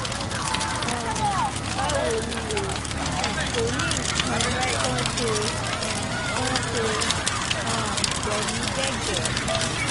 um báwo ni o? kò ní nǹkan kan ṣe um kan ṣe um pẹ̀lú gẹ̀gẹ̀